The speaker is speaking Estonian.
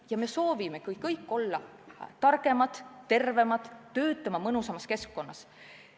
Ja me soovimegi kõik olla targemad, tervemad, töötada mõnusamas keskkonnas.